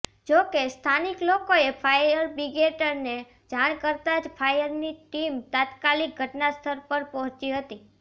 જો કે સ્થાનિક લોકોએ ફાયરબ્રિગેડને જાણ કરતાં જ ફાયરની ટીમ તાત્કાલિક ઘટનાસ્થળ પર પહોચી હતી